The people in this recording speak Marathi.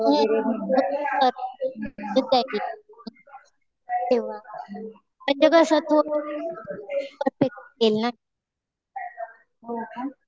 हम्म कर. म्हणजे कसं परफेक्ट येईल ना